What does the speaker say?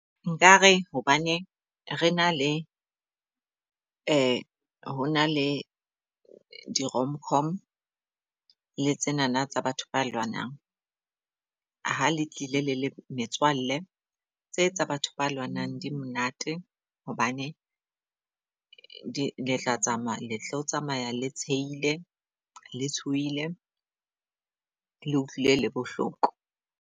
Nkare hobaneng re na le ho na le di-rom-com le tsenana tsa batho ba lwanang. Ha le tlile le le metswalle tse tsa batho ba lwanang di monate. Hobane letla tsamaya letlo tsamaya le tsheile, le tshohile, le utlwile le bohloko.